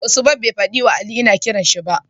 Usman be fada wa Ali ina kiranshi ba?